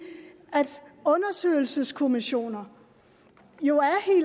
at undersøgelseskommissioner jo